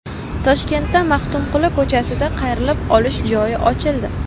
Toshkentda Maxtumquli ko‘chasida qayrilib olish joyi ochildi.